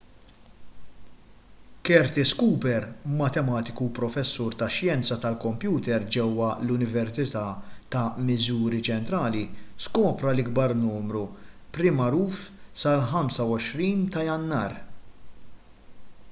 curtis cooper matematiku u professur tax-xjenza tal-kompjuter ġewwa l-università ta' missouri ċentrali skopra l-ikbar numru prim magħruf sal-25 ta' jannar